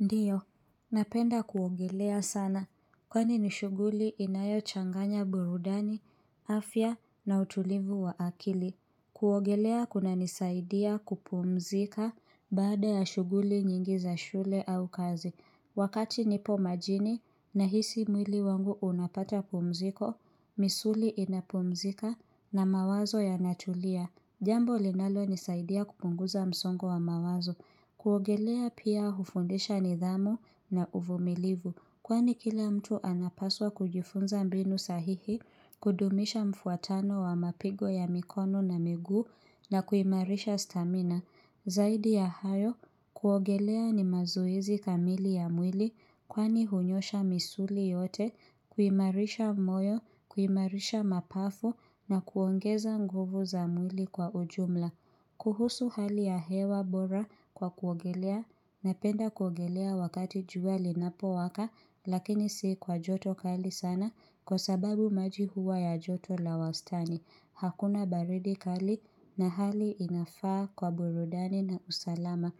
Ndiyo, napenda kuogelea sana, kwani nishuguli inayo changanya burudani, afya na utulivu wa akili. Kuogelea kunanisaidia kupumzika baada ya shuguli nyingi za shule au kazi. Wakati nipo majini nahisi mwili wangu unapata pumziko, misuli inapumzika na mawazo yanatulia. Jambo linalo nisaidia kupunguza msongo wa mawazo, kuogelea pia hufundisha nidhamu na uvumilivu, kwani kila mtu anapaswa kujifunza mbinu sahihi, kudumisha mfuatano wa mapigo ya mikono na migu na kuimarisha stamina. Zaidi ya hayo, kuogelea ni mazoezi kamili ya mwili kwani hunyosha misuli yote, kuimarisha moyo, kuimarisha mapafu na kuongeza nguvu za mwili kwa ujumla. Kuhusu hali ya hewa bora kwa kuogelea napenda kuongelea wakati jua linapo waka lakini si kwa joto kali sana kwa sababu maji huwa ya joto la wastani. Hakuna baridi kali na hali inafaa kwa burudani na usalama.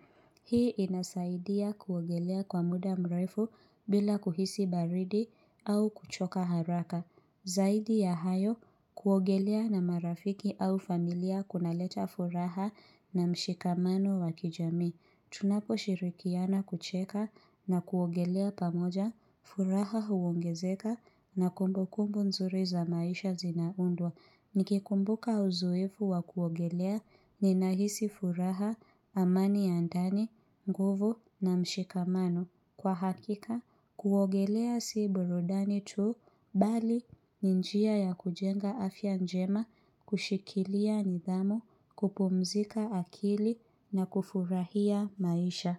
Hii inasaidia kuogelea kwa muda mrefu bila kuhisi baridi au kuchoka haraka. Zaidi ya hayo kuogelea na marafiki au familia kunaleta furaha na mshikamano wakijami. Tunapo shirikiana kucheka na kuogelea pamoja, furaha huongezeka na kumbukumbu nzuri za maisha zinaundwa. Nikikumbuka uzoefu wa kuogelea ni nahisi furaha, amani ya ndani, nguvu na mshikamano. Kwa hakika, kuogelea siiburudani tuu bali ni njia ya kujenga afya njema, kushikilia nidhamu, kupumzika akili na kufurahia maisha.